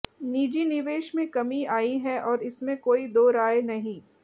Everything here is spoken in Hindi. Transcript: निजी निवेश में कमी आई है और इसमें कोई दो राय नहीं